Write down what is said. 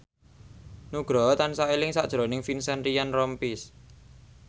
Nugroho tansah eling sakjroning Vincent Ryan Rompies